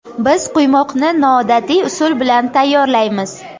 Biz quymoqni noodatiy usul bilan tayyorlaymiz.